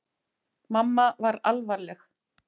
Mamma var alvarleg.